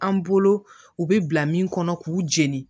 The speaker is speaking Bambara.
An bolo u bɛ bila min kɔnɔ k'u jeni